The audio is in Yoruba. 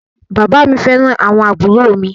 Bàbá à mi fẹ́ràn àwọn àbúrò mi.